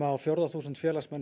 á fjórða þúsund félagsmanna